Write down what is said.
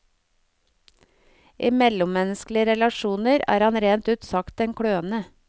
I mellommenneskelige relasjoner er han rent ut sagt en kløne.